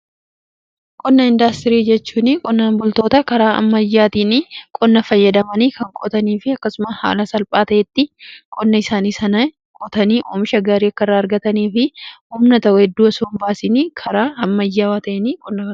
qonna indaastirii jechuun qonnan bultootnni karaa ammayyaatiin qonna fayyadamanii kan qootanii fi akkasumas haala salphaa ta'een qonna isaani sana qootanii oomisha gaarii akka irraa argatanii fi humna heddu osoo hin baasiin karaa ammayyaawaa ta'een kan qotanidha.